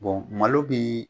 malo bɛ